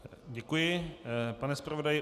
Děkuji, pane zpravodaji.